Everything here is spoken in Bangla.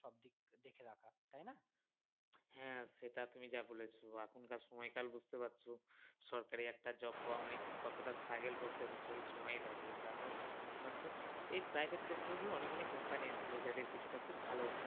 হ্যাঁ সেটা তুমি যা বলেছ এখনকার সময়কাল বুঝতে পারছ সরকারি একটা job পাওয়া মানে কতটা struggle করতে হচ্ছে এ সময় দাঁড়িয়ে তার মধ্যে এ private sector গুলো অনেক অনেক company আছে যাদের কিছুটা ভালো